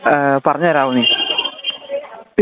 A പറഞ്ഞു തരാമോ നീ